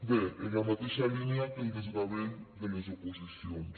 bé en la mateixa línia que el desgavell de les oposicions